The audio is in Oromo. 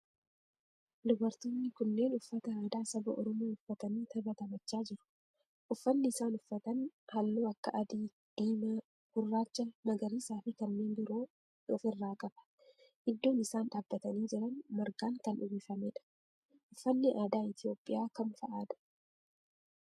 Dubartoonni kunneen uffata aadaa saba oromoo uffatanii tapha taphachaa jiru. Uffanni isaan uffatan halluu akka adii, diimaa, gurraacha, magariisaa fi kanneen biroo of irraa qaba. Iddoon isaan dhaabbatanii jiran margaan kan uwwifamedha. Uffanni aadaa Itiyoophiyaa kam fa'aadha?